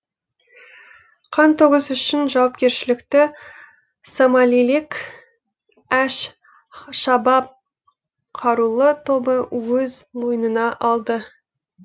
қантөгіс үшін жауапкершілікті сомалилік әш шабаб қарулы тобы өз мойнына алды